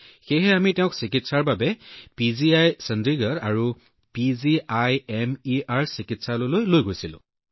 গতিকে আমি তাইক চিকিৎসাৰ বাবে পিজিআই চণ্ডীগড়লৈ লৈ গৈছিলো